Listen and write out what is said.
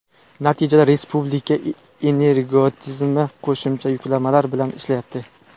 Natijada respublika energotizimi qo‘shimcha yuklamalar bilan ishlayapti.